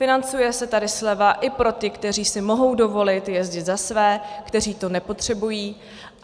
Financuje se tady sleva i pro ty, kteří si mohou dovolit jezdit za své, kteří to nepotřebují.